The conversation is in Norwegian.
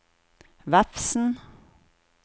Vefsn